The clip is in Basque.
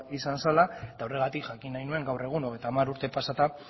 izan zela eta horregatik jakin nahi nuen gaur egun hogeita hamar urtetan pasata